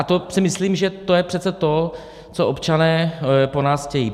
A to si myslím, že to je přece to, co občané po nás chtějí.